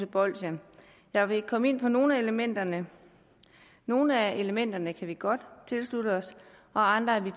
bolsjer jeg vil komme ind på nogle af elementerne og nogle af elementerne kan vi godt tilslutte os andre er vi